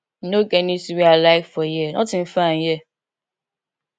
e no get anything wey i like for here nothing fine here